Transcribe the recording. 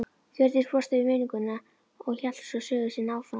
Hjördís brosti við minninguna og hélt svo sögu sinni áfram